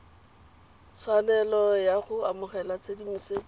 tshwanelo ya go amogela tshedimosetso